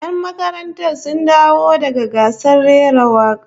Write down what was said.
Yan makarantar sun dawo daga gasar rera waka